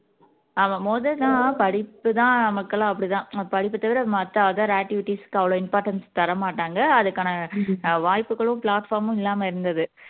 ஆமா முதல் தான் படிப்புதான் மக்களும் அப்படித்தான் படிப்பைத் தவிர மத்த other activities க்கு அவ்வளவு importance தர மாட்டாங்க அதுக்கான ஆஹ் வாய்ப்புகளும் platform மும் இல்லாம இருந்தது